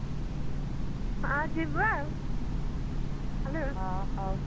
ହଁ ଯିବା ଆଉ